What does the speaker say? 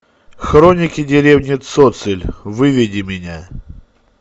хроники деревни цоциль выведи меня